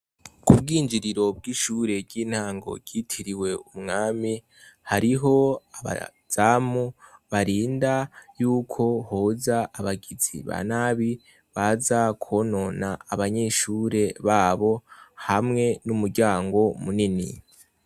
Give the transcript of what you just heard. Ku bwinjiriro bw'ishure ry'intango ryitiriwe umwami, hariho abazamu barinda yuko hoza abagizi ba nabi, baza kwonona abanyeshure babo hamwe n'umuryango munini.